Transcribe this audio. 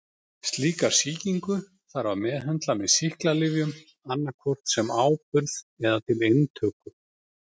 Slíka sýkingu þarf að meðhöndla með sýklalyfjum annað hvort sem áburð eða til inntöku.